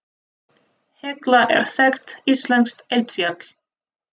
Hekla er þekkt íslenskt eldfjall.